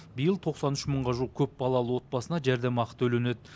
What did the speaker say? биыл тоқсан үш мыңға жуық көпбалалы отбасына жәрдемақы төленеді